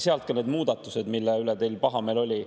Sellest ka need muudatused, mille üle teil pahameel oli.